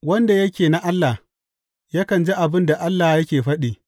Wanda yake na Allah, yakan ji abin da Allah yake faɗi.